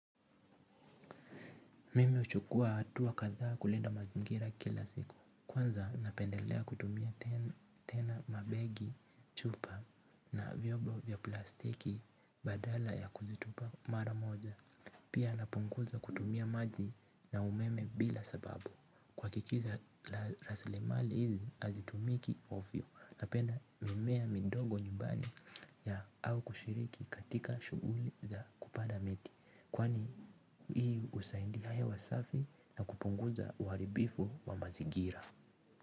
Mimi huchukua hatua katha kulinda mazingira kila siku. Kwanza napendelea kutumia tena mabegi chupa na vyombo vya plastiki badala ya kuzitupa mara moja. Pia napunguza kutumia maji na umeme bila sababu kuhakikisha rasilimali hizi hazitumiki ovyo. Napenda mimea midogo nyumbani ya au kushiriki katika shuguli za kupanda miti. Kwani hii husaidia hewa safi na kupunguza uharibifu wa mazigira.